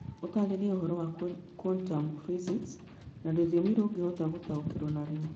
ũtaarĩrie ũhoro wa quantum physics na rũthiomi rũngĩhota gũtaũkĩrũo nĩruo